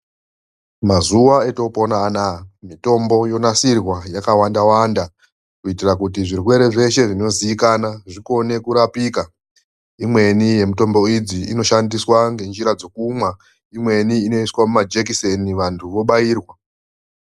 Mazuva atopona anawa mitombo yonasirwa yakawanda-wanda kuitira kuti zvirwere zvakasiyana zvione kurapika, imweni yemutombo idzi inoshandiswa ngenzira dzekumwa imweni inoiswa muma jekiseni vantu vobairwa.